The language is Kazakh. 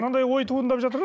мынандай ой туындап жатыр ғой